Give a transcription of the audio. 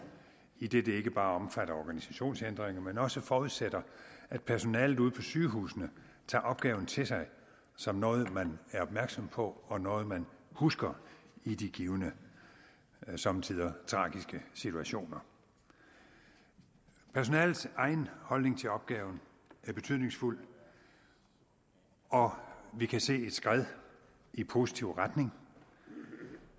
idet den ikke bare omfatter organisationsændringer men også forudsætter at personalet ude på sygehusene tager opgaven til sig som noget man er opmærksom på og noget man husker i de givne somme tider tragiske situationer personalets egen holdning til opgaven er betydningsfuld og vi kan se et skred i positiv retning